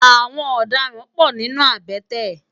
Awòn òdàrãn pò ninú àbètè